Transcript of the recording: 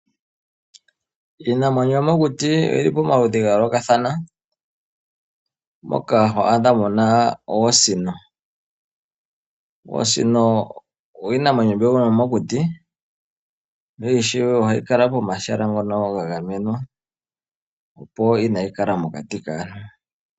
Iinamwenyo yomokuti oyili pamaludhi gayoolokathana moka ho adha mu na oosino. Oosino iinamwenyo yomokuti yo ishewe ohayi kala pomahala ngono ga gamenwa opo kaayi kale mokati kaantu.